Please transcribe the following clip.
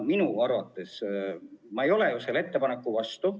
Ma ei ole teie ettepaneku vastu.